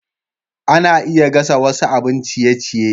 Ana iya gasa wasu abin ciye-ciye.